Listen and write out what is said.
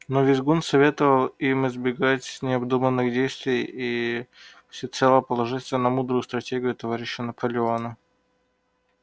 но визгун советовал им избегать необдуманных действий и всецело положиться на мудрую стратегию товарища наполеона